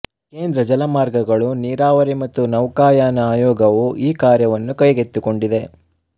ಕೇಂದ್ರ ಜಲಮಾರ್ಗಗಳು ನೀರಾವರಿ ಮತ್ತು ನೌಕಾಯಾನ ಆಯೋಗವು ಈ ಕಾರ್ಯವನ್ನು ಕೈಗೆತ್ತಿಕೊಂಡಿದೆ